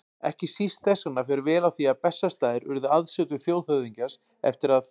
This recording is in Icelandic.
Ekki síst þess vegna fer vel á því að Bessastaðir urðu aðsetur þjóðhöfðingjans, eftir að